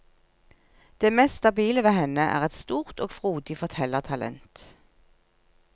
Det mest stabile ved henne er et stort og frodig fortellertalent.